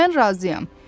Mən razıyam.